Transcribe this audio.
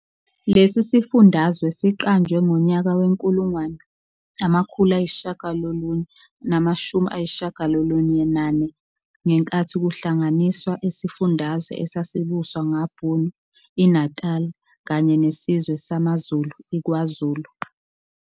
Lesi sifundazwe siqanjwe ngonyaka we-1994, ngenkathi kuhlanganiswa isifundazwe esasibuswa ngaBhunu iNatali kanye nesizwe samaZulu iKwaZulu.